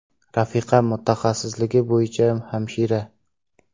Rafiqam mutaxassisligi bo‘yicha hamshira.